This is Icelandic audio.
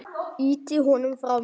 Ýti honum frá mér.